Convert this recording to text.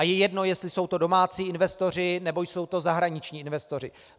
A je jedno, jestli jsou to domácí investoři, nebo jsou to zahraniční investoři.